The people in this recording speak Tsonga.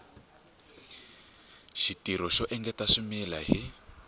xitirho xo engetela swimila hi